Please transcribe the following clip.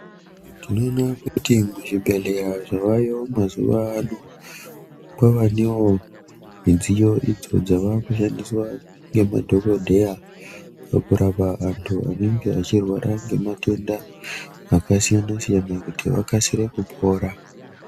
Tinoona kuti zvibhedhleya zvavayo mazuva ano kwavanewo midziyo idzo dzava kushandiswa ngemadhokodheya pakurapa antu anenge achirwara ngematenda akasiyana-siyana kuti vakasire kupora.